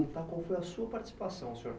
perguntar qual foi a sua participação, senhor.